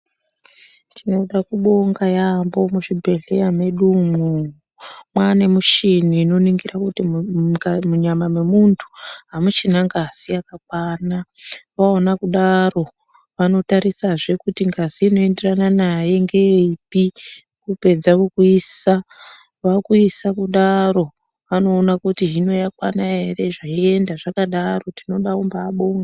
Tinoda kubonga yaambo muzvibhedhleya medu umwo. Mwaane mishini inoningira kuti munyama memuntu hamuchina ngazi yakakwana. Vaona kudaro, vanotarisazve kuti ngazi inoenderana naye ngeipi, apedza kukuisa, vakuisa kudaro vanoona kuti hino yakwana ere zveienda zvakadaro. Tinoda kumbabonga.